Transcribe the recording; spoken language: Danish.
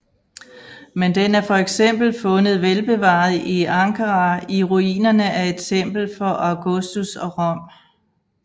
Men den er fx fundet velbevaret i Ankara i ruinerne af et tempel for Augustus og Rom